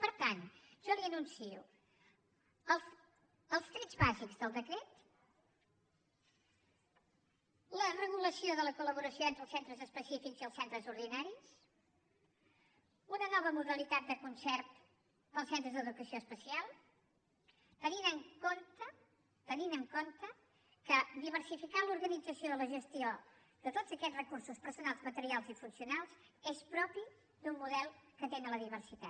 per tant jo li anuncio els trets bàsics del decret la regulació de la coli els centres ordinaris una nova modalitat de concert per als centres d’educació especial tenint en compte que diversificar l’organització i la gestió de tots aquests recursos personals materials i funcionals és propi d’un model que atén la diversitat